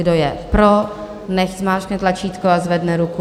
Kdo je pro, nechť zmáčkne tlačítko a zvedne ruku.